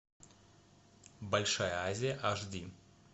большая азия аш ди